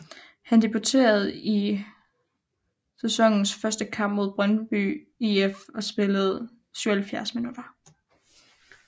Han debuterede i sæsonens første kamp mod Brøndby IF og spillede 77 minutter